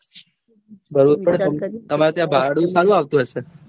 તમાર ત્યાં ભાડું સારું આવતું હશે.